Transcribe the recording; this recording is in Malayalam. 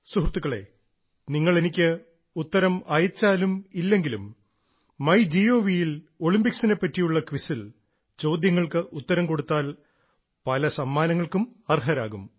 സൃഹൃത്തുക്കളേ നിങ്ങൾ എനിക്ക് ഉത്തരം അയച്ചാലും ഇല്ലെങ്കിലും മൈ ഗവ്ൽ ഒളിമ്പിക്സിനെ പറ്റിയുള്ള ക്വിസിൽ ചോദ്യങ്ങൾക്ക് ഉത്തരം കൊടുത്താൽ പല സമ്മാനങ്ങൾക്കും അർഹരാകും